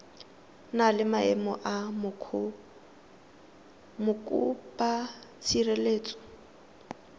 na le maemo a mokopatshireletso